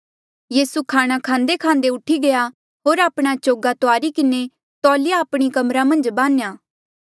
यीसू खाणा खांदेखांदे उठी गया होर आपणा चोगा तुआरी किन्हें तौलिया आपणी कमरा मन्झ बान्ह्या